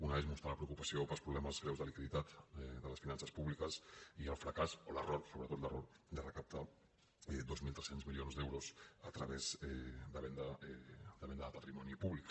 una és mostrar la preocupació pels problemes greus de liquiditat de les finances pú·bliques i el fracàs o l’error sobretot l’error de recap·tar dos mil tres cents milions d’euros a través de venda de patri·moni públic